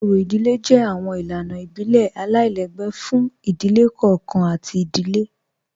Ọ̀rì ìdílẹ̀ jẹ́ awọn ilànà ìbílẹ̀ aláìlẹ̀gbẹ̀ fún ìdílẹ̀ kọọ̀kan àti ìdílẹ̀